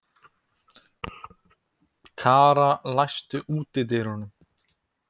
Kara, læstu útidyrunum.